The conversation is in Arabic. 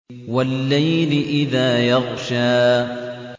وَاللَّيْلِ إِذَا يَغْشَىٰ